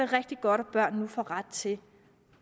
rigtig godt at børn nu får ret til